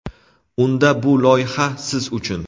Unda bu loyiha siz uchun.